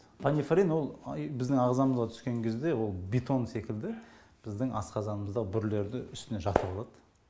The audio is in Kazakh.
панифарин ол біздің ағзамызға түскен кезде ол бетон секілді біздің асқазанымызда бүрілерді үстіне жатып алат